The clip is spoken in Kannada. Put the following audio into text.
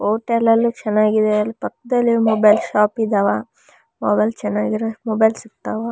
ಹೋಟೇಲ್ ಅಲ್ಲಿ ಚೆನ್ನಗಿದೆ ಅಲ್ಲ್ ಪಕ್ಕದಲ್ಲಿ ಮೊಬೈಲ್ ಶೋಪ್ ಇದಾವ. ಮೊಬೈಲ್ ಚೆನ್ನಾಗಿರೊ ಮೊಬೈಲ್ ಸಿಗ್ತಾವ.